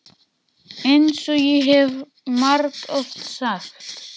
EINS OG ÉG HEF MARGOFT SAGT.